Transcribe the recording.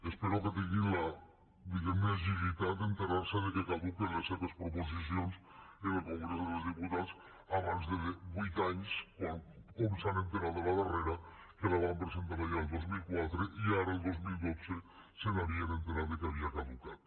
espero que tinguin la diguem ne agilitat d’assabentar se que caduquen les seves proposicions en el congrés dels diputats abans de vuit anys com s’han assabentat de la darrera que la van presentar allà el dos mil quatre i ara el dos mil dotze s’havien assabentat que havia caducat